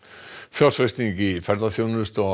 fjárfesting í ferðaþjónustu á